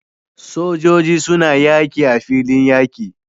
Sojoji suna yaki a filin yaki